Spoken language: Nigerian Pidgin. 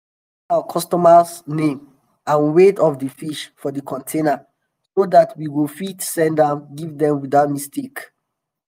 we dey write our customer name and weight of d fish for d container so dat we go fit send am give dem without mistake.